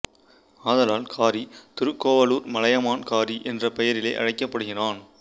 ஆதலால் காரி திருக்கோவலூர் மலையமான் காரி என்ற பெயரிலேய அழைக்கப்படுகிறான்